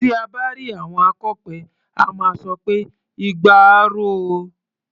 Tí à bá rí àwọn akọ̀pẹ, a máa sọ pé "igba á ro o".